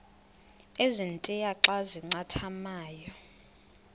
ezintia xa zincathamayo